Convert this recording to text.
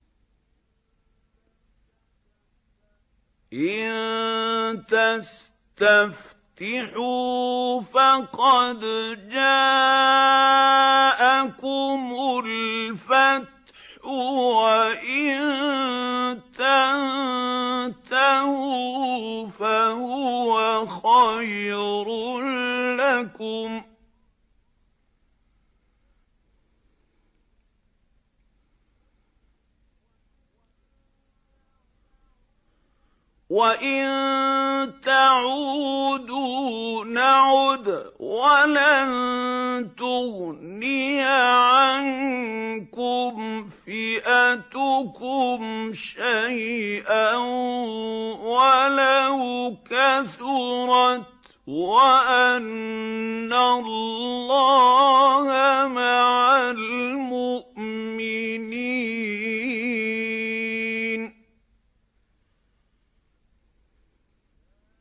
إِن تَسْتَفْتِحُوا فَقَدْ جَاءَكُمُ الْفَتْحُ ۖ وَإِن تَنتَهُوا فَهُوَ خَيْرٌ لَّكُمْ ۖ وَإِن تَعُودُوا نَعُدْ وَلَن تُغْنِيَ عَنكُمْ فِئَتُكُمْ شَيْئًا وَلَوْ كَثُرَتْ وَأَنَّ اللَّهَ مَعَ الْمُؤْمِنِينَ